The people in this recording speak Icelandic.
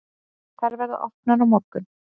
Þær verða opnar á morgun.